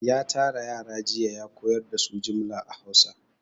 Ya tara yara jiya ya koyar da su jimla a Hausa.